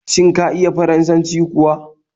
Shin ka iya Faransanci kuwa?